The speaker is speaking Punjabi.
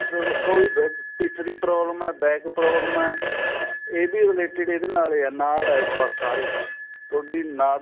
ਜਦੋਂ ਕੋਈ ਪਿੱਠ ਦੀ problem ਏ back problem ਏ ਇਹਦੇ related ਇਹਦੇ ਨਾਲ ਈ ਇਹ ਨਾੜ ਏ ਸਾਰੀ ਤੁਹਾਡੀ ਨਾੜ